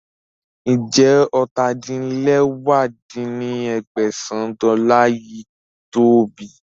Ń jẹ́ ọ́ta-din-lẹwá dín ní ẹgbẹ́sán dọ́là yìí to ọ bí